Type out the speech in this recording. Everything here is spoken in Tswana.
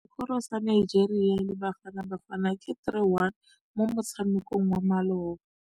Sekôrô sa Nigeria le Bafanabafana ke 3-1 mo motshamekong wa malôba.